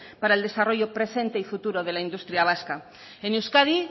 para el desarrollo presente y futuro de la industria vasca en euskadi